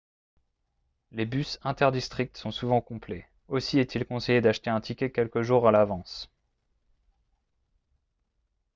les bus inter-districts sont souvent complets aussi est-il conseillé d'acheter un ticket quelques jours à l'avance